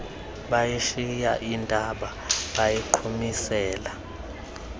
bayishiya intaba bayiqhumisela